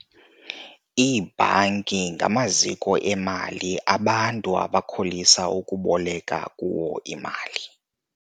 Iibhanki ngamaziko emali abantu abakholisa ukuboleka kuwo imali.